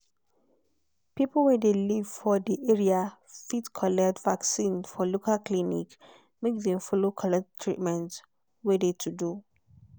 people wey de live for de area fit collect vaccin for local clinic make dem follow collect treatment wey de to do.